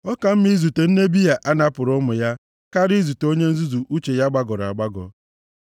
Ọ ka mma izute nne Bịa a napụrụ ụmụ ya karịa izute onye nzuzu uche ya gbagọrọ agbagọ.